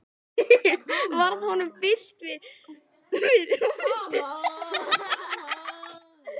Varð honum bilt við og vildi þegar út úr skálanum.